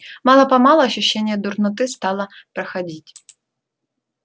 мало-помалу ощущение дурноты стало проходить